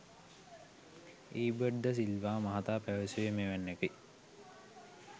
ඊබට් ද සිල්වා මහතා පැවසුවේ මෙවැන්නකි.